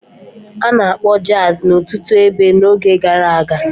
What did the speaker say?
A na-akpọ Jazi n'ọtụtụ ebe n'oge gara aga.